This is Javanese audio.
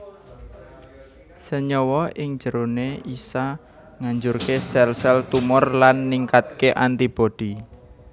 Senyawa ing jeroné isa ngajurké sel sel tumor lan ningkatké antibodi